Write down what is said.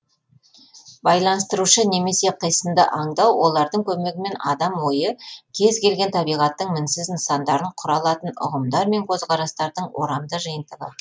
байланыстырушы немесе қисынды аңдау олардың көмегімен адам ойы кез келген табиғаттың мінсіз нысандарын құра алатын ұғымдар мен көзқарастардың орамды жиынтығы